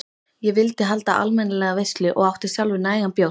Ég vildi halda almennilega veislu og átti sjálfur nægan bjór.